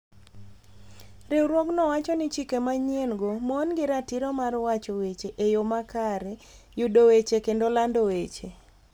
Riwruogno wacho ni chike manyien-go mon gi ratiro mar wacho weche e yo makare, yudo weche, kendo lando weche.